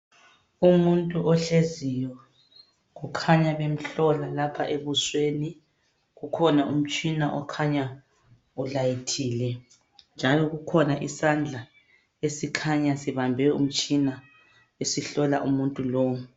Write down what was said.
Umuntu ohleziyo. Kukhanya bemhlola lapha ebusweni. Kukhona umtshina okhanya ulayitile njalo kukhona isandla esikhanya sibambe umtshina esihlola umuntu lowu.